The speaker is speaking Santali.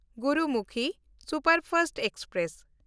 Gurumukhi superfast express